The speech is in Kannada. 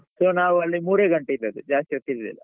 So ನಾವ್ ಅಲ್ಲಿ ಮೂರೇ ಗಂಟೆ ಇದದ್ದು ಜಾಸ್ತಿ ಹೊತ್ತು ಇರ್ಲಿಲ್ಲ.